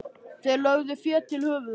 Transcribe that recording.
Þeir lögðu fé til höfuðs honum.